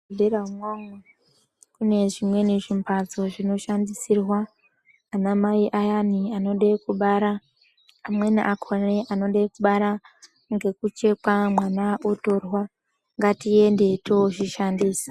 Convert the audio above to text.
Muzvibhedhera umwomwo mune zvimweni zvimphatso zvinoshandisirwa ana mai ayani anoda kubara, amweni akhona anoda kubara ngekuchekwa mwana otorwa, ngatiende toozvishandisa.